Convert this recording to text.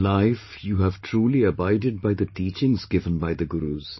In life, You have truly abided by the teachings given by the Gurus